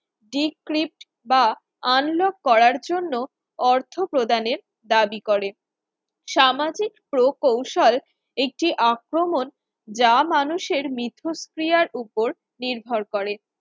decrypt বা unlock করার জন্য অর্থ প্রদানের দাবি করে, সামাজিক প্রকৌশল একটি আক্রমণ যা মানুষের মিথস্ক্রিয়ার উপর নির্ভর করে